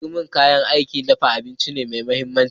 Turmi kayan aikin dafa abinci ne mai mahimmanci.